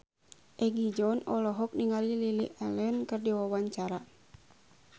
Egi John olohok ningali Lily Allen keur diwawancara